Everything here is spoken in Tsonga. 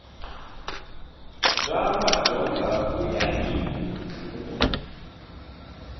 bya madyondza ku ya hi